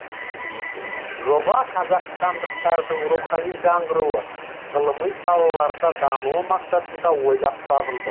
жоба қазақстандықтардың рухани жаңғыруы ғылыми салаларда дамуы мақсатында ойлап табылды